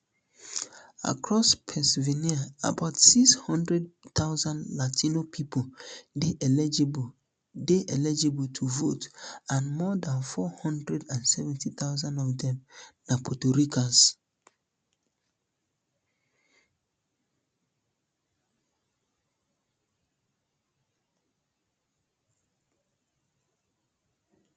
um across pennsylvania about six hundred thousand latino pipo dey eligible dey eligible to vote and more dan four hundred and seventy thousand of dem na puerto ricans